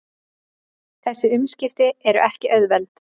Þessi umskipti eru ekki auðveld